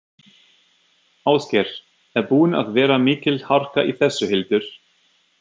Ásgeir: Er búin að vera mikil harka í þessu, Hildur?